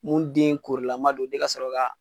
Mun den korilama don ni ka sɔrɔ ka.